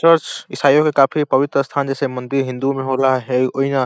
church ईसाइयो के काफी पवित्र स्थान जैसे मन्दिर हिन्दू मे होला ह वोहीना --